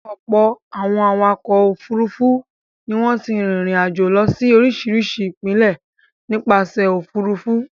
Ọ̀pọ̀ àwọn awakọ̀ òfurufú ni wọ́n ti rìnrìn-àjò lọ sí oríṣiríṣi ìpínlẹ̀ nípasẹ̀ òfurufú.